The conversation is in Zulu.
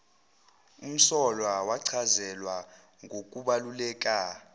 umsolwa wachazelwa ngokubaluleka